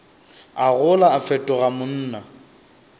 a gola a fetoga monna